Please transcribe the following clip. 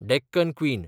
Deccan queen